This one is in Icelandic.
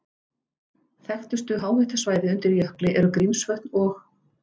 Þekktustu háhitasvæði undir jökli eru Grímsvötn og